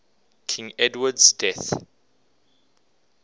king edward's death